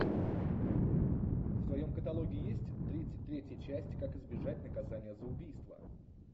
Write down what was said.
в твоем каталоге есть тридцать третья часть как избежать наказания за убийство